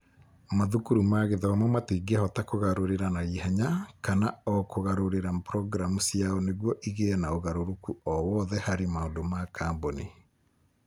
Mathukuru ma gĩthomo matingĩhota kũgarũrĩra na ihenya, kana o na kũgarũrĩra programu ciao nĩguo igĩe na ũgarũrũku o wothe harĩ maũndũ ma kambuni.